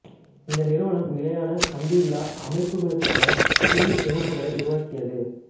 இந்த நிறுவனம் நிலையான கம்பியில்லா அமைப்புகளுக்கான சில்லு தொகுப்புகளை உருவாக்கியது